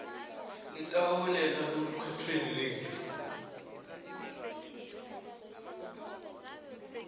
letaholela elukhetfweni lwetfu